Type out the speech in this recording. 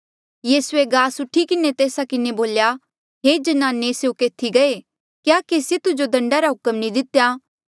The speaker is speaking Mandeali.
यीसूए गास उठी किन्हें तेस्सा किन्हें बोल्या हे ज्नाने स्यों केथी गये क्या केसिए तुजो दंडा रा हुक्म नी दितेया